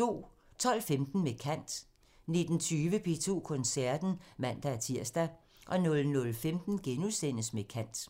12:15: Med kant 19:20: P2 Koncerten (man-tir) 00:15: Med kant *